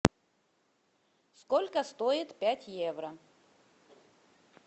сколько стоит пять евро